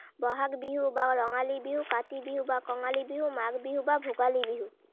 বহাগ বিহু বা ৰঙালী বিহু, কাতি বিহু বা কঙালী বিহু, মাঘ বিহু বা ভোগালী বিহু।